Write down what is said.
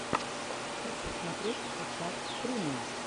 хочу смотреть сейчас стримы